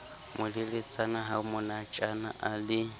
moleletsana ha monatjana a le